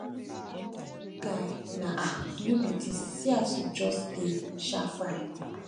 guy na um you be dis see as you just dey um fine